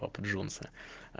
папа джонса